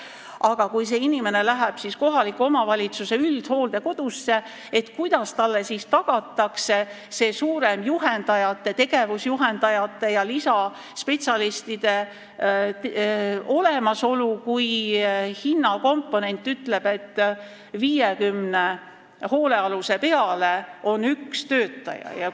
Aga kui see inimene läheb kohaliku omavalitsuse üldhooldekodusse, kuidas talle tagatakse see, et on rohkem juhendajaid, tegevusjuhendajaid ja lisaspetsialiste, kui hinnakomponent ütleb, et 50 hoolealuse peale on üks töötaja?